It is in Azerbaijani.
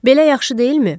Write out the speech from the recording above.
Belə yaxşı deyilmi?